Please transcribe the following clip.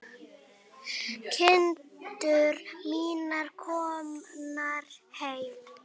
Kindur mínar komnar heim.